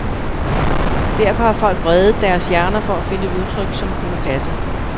Derfor har folk vredet deres hjerner for at finde et udtryk, som kunne passe.